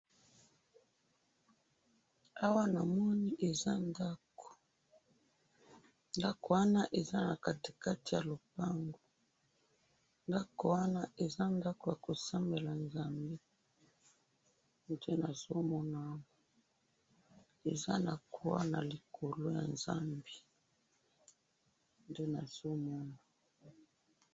Awa namoni eza ndako ,ndako wana eza na kati kati ya lopango, ndako wana eza ndako ya kosambela Nzambe nde nazo mona awa, eza na croix na likolo ya Nzambe nde nazo mona